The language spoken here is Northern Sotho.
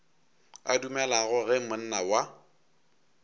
a dumelago ge monna wa